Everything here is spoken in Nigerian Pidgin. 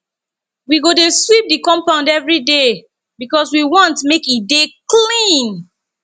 we go dey sweep di compound everyday because we wan make e dey clean